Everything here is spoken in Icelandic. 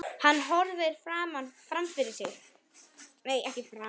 Hann horfir fram fyrir sig.